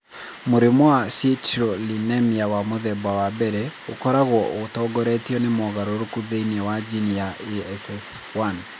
Mũrimũ wa citrullinemia wa mũthemba wa I ũkoragwo ũtongoretio nĩ mogarũrũku thĩinĩ wa jini ya ASS1.